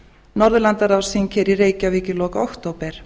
norðurlandaráðsþing hér í reykjavík í lok október